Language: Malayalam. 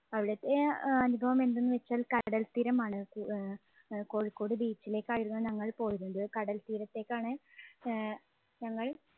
അവിടുത്തെ ആഹ് അനുഭവം എന്തെന്ന് വെച്ചാൽ കടൽത്തീരമാണ്. ആഹ് അഹ് കോഴിക്കോട് beach ലേക്കായിരുന്നു ഞങ്ങൾ പോയിരുന്നത്. കടൽത്തീരത്തേക്കാണ് ആഹ് ഞങ്ങൾ